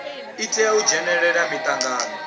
i tea u dzhenela mitangano